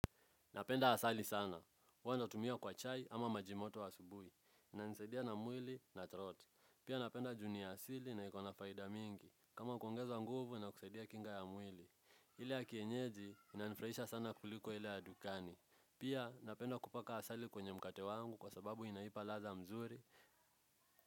Napenda asali sana. Huwa natumia kwa chai ama maji moto wa asubuhi. Inanisaidia na mwili na throat. Pia napenda juu ni asili na iko na faida mingi. Kama kuongeza nguvu ina kusaidia kinga ya mwili. Ile ya kienyeji inanifrahisha sana kuliko ile ya dukani. Pia napenda kupaka asali kwenye mkate wangu kwa sababu inaipa ladha mzuri.